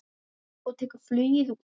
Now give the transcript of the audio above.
Og tekur flugið út.